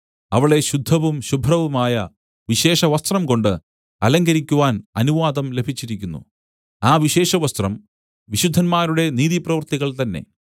അവളെ ശുദ്ധവും ശുഭ്രവുമായ വിശേഷവസ്ത്രം കൊണ്ട് അലങ്കരിക്കുവാൻ അനുവാദം ലഭിച്ചിരിക്കുന്നു ആ വിശേഷവസ്ത്രം വിശുദ്ധന്മാരുടെ നീതിപ്രവൃത്തികൾ തന്നേ